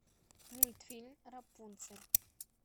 мультфильм рапунцель